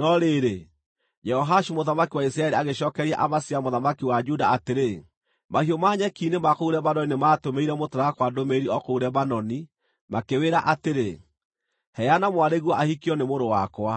No rĩrĩ, Jehoashu mũthamaki wa Isiraeli agĩcookeria Amazia mũthamaki wa Juda atĩrĩ: “Mahiũ ma nyeki-inĩ ma kũu Lebanoni nĩmatũmĩire mũtarakwa ndũmĩrĩri o kũu Lebanoni makĩwĩra atĩrĩ, ‘Heana mwarĩguo ahikio nĩ mũrũ wakwa.’